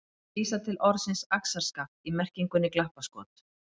Hér er vísað til orðsins axarskaft í merkingunni glappaskot.